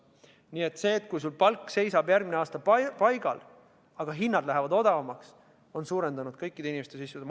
Nii et see, kui palk seisab järgmisel aastal paigal, aga hinnad lähevad odavamaks, suurendab siiski kõikide inimeste sissetulekut.